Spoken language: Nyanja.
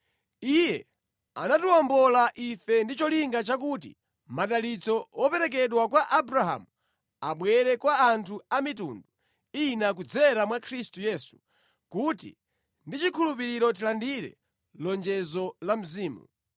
Iye anatiwombola ife ndi cholinga chakuti madalitso woperekedwa kwa Abrahamu abwere kwa anthu a mitundu ina kudzera mwa Khristu Yesu, kuti ndi chikhulupiriro tilandire lonjezo la Mzimu.